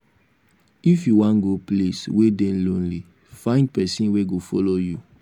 if you wan go place wey dey lonely find pesin wey go follow you.